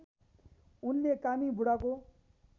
उनले कामी बुढाको